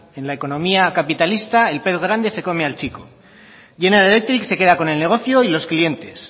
en la economía capitalista el pez grande se como al chico general electric se queda con el negocio y los clientes